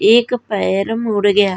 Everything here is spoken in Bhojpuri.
एक पैर मुड़ गया।